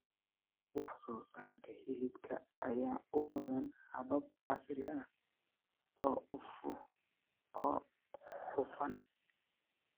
Wax soo saarka hilibka ayaa u baahan habab casri ah oo hufan.